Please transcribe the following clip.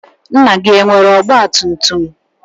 Nna gị, enwere ọgbatumtum?